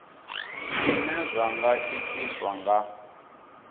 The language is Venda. zwine zwa nga itiswa nga